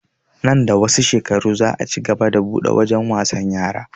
Nan da wasu shekaru za a cigaba da buɗe wajen wasan yara